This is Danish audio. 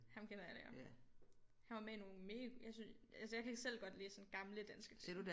Ham kender alle ja han var med i nogle mega jeg synes altså jeg kan selv godt lide sådan gamle danske film